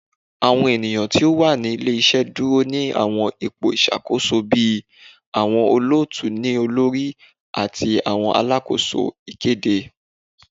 Awọn eniyan ti o wa ni ile-iṣẹ duro ni awọn ipo iṣakoso bi awọn olootu-ni-olori ati awọn alakoso ikede